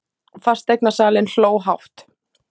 Fasteignasalinn hló hátt.